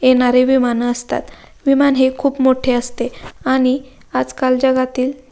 येणारे विमान असतात विमान हे खूप मोठे असते आणि आजकाल जगातील --